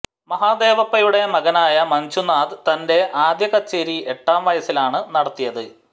മഹദേവപ്പയുടെ മകനായ മഞ്ജുനാഥ് തന്റെ ആദ്യകച്ചേരി എട്ടാം വയസ്സിലാണ് നടത്തിയത്